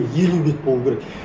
елу бет болу керек